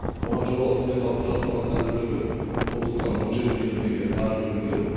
оған жобалық сметалық құжаттамасын әзірлеуге облыстан он жеті миллион теңге қаржы бөлінген